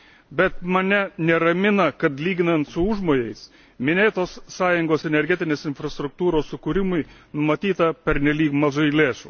Bet mane neramina, kad, lyginant su užmojais, minėtos Sąjungos energetinės infrastruktūros sukūrimui numatyta pernelyg mažai lėšų.